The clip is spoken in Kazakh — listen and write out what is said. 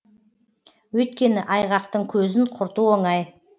өйткені айғақтың көзін құрту оңай